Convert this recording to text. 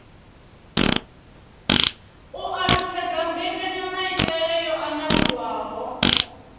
u alutshedza mbekanyamaitele yo anavhuwaho